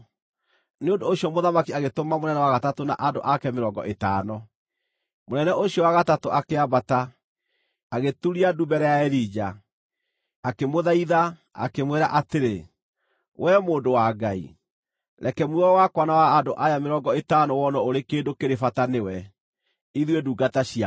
Nĩ ũndũ ũcio mũthamaki agĩtũma mũnene wa gatatũ na andũ ake mĩrongo ĩtano. Mũnene ũcio wa gatatũ akĩambata, agĩturia ndu mbere ya Elija. Akĩmũthaitha, akĩmwĩra atĩrĩ, “Wee mũndũ wa Ngai, reke muoyo wakwa na wa andũ aya mĩrongo ĩtano wonwo ũrĩ kĩndũ kĩrĩ bata nĩwe, ithuĩ ndungata ciaku!